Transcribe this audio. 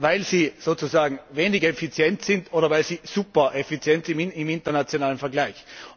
Weil sie sozusagen weniger effizient sind oder weil sie supereffizient sind im internationalen Vergleich?